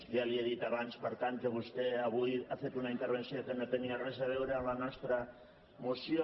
ja li he dit abans per tant que vostè avui ha fet una intervenció que no tenia res a veure amb la nostra moció